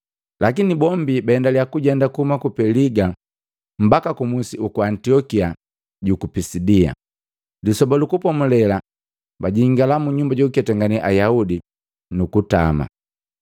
Lakini bombi baendalia kujenda kuhuma ku Peliga mbaki kumusi uku Antiokia juku Pisidia. Lisoba lu Kupomulela bajingala mu nyumba jukuketangane Ayaudi, nukutama.